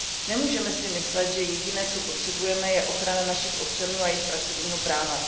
Nemůžeme si myslet, že jediné, co potřebujeme, je ochrana našich občanů a jejich pracovního práva.